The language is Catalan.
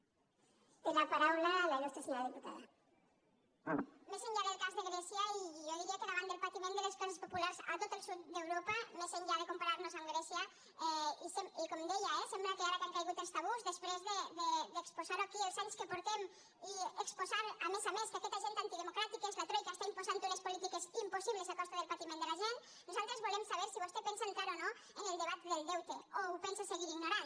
més enllà del cas de grècia i jo diria que davant del patiment de les classes populars a tot el sud d’europa més enllà de comparar nos amb grècia i com deia eh sembla que ara que han caigut els tabús després d’exposar ho aquí els anys que fa i exposar a més a més que aquest agent antidemocràtic que és la troica està imposant unes polítiques impossibles a costa del patiment de la gent nosaltres volem saber si vostè pensa entrar o no en el debat del deute o ho pensa seguir ignorant